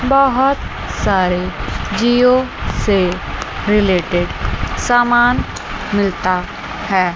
बहोत सारे जिओ से रिलेटेड सामान मिलता है।